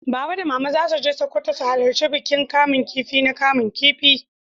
Baba da mama za su je Sokoto su halarta bikin kaman kifi na kaman kifi.